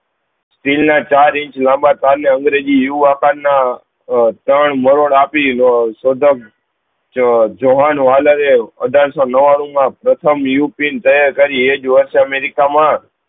ના ચાર ઇંચ લાંબા તાર ને અંગ્રેજી યુ આકાર ના ત્રણ મરોડ આપી દઉં શોધક અઠાર સૌ નવ્વાણું પ્રથમ યુપીન એ તૈયાર કરી એ જ વર્ષ અમેરિકા મા